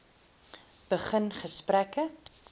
begin gesprekke